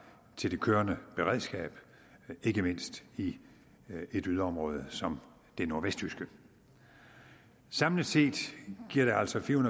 til det kørende beredskab ikke mindst i et yderområde som det nordvestjyske samlet set giver det altså fire